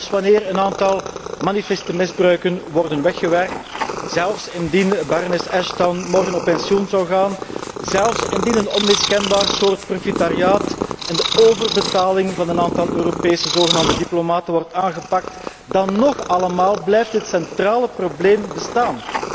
Want zelfs wanneer een aantal manifeste misbruiken worden weggewerkt, zelfs indien Barones Ashton morgen met pensioen zou gaan, zelfs indien een onmiskenbaar soort profitariaat en de overbetaling van een aantal Europese zogenaamde diplomaten wordt aangepakt, dan nog blijft het centrale probleem bestaan.